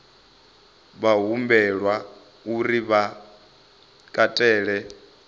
vha humbelwa uri vha katele